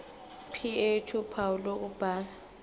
ph uphawu lokubhala